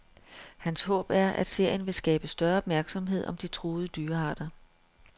Hans håb er, at serien vil skabe større opmærksomhed om de truede dyrearter.